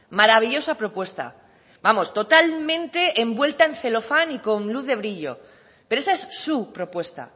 maravillosa propuesta vamos totalmente envuelta en celofán y con luz de brillo pero esa es su propuesta